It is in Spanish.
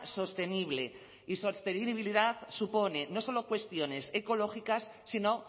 sostenible y sostenibilidad supone no solo cuestiones ecológicas sino